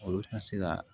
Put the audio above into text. Olu tɛ se ka